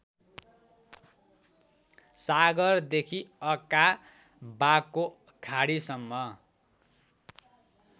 सागरदेखि अकाबाको खाडीसम्म